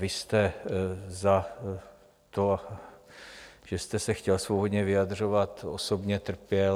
Vy jste za to, že jste se chtěl svobodně vyjadřovat, osobně trpěl.